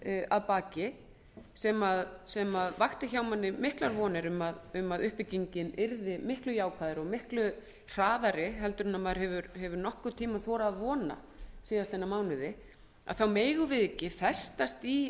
að baki sem vakti hjá manni miklar vonir um að uppbyggingin yrði miklu jákvæðari og miklu hraðari en maður hefur þorað að vona síðustu mánuðina megum við ekki